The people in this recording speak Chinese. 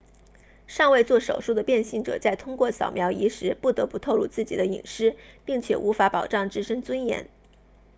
尚未做手术的变性者在通过扫描仪时不得不透露自己的隐私并且无法保障自身尊严